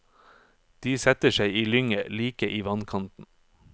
De setter seg i lynget, like i vannkanten.